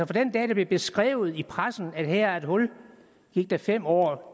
den dag det blev beskrevet i pressen at her var et hul gik der fem år